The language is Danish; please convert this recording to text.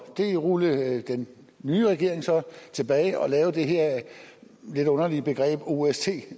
det rullede den nye regering så tilbage og den lavede det her lidt underlige begreb ost